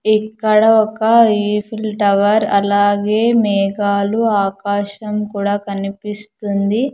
ఇక్కడ ఒక Eiffel Tower అలాగే మేఘాలు ఆకాశం కూడా కనిపిస్తుంది.